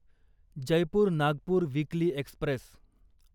Jaipur Nagpur weekly Express